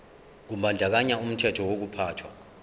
kubandakanya umthetho wokuphathwa